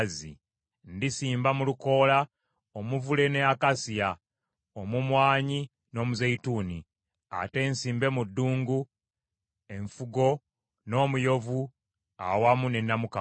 Ndisimba mu lukoola omuvule ne akasiya, omumwanyi n’omuzeyituuni, ate nsimbe mu ddungu enfugo n’omuyovu awamu ne namukago.